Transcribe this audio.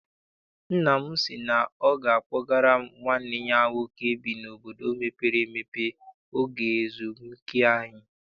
Nna m sị na ọ ga a kpọgara m nwanne ya nwoke bi n'obodo mepere emepe oge ezumike anyị.